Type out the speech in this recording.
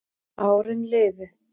Árin liðu